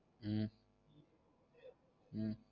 உம் உம்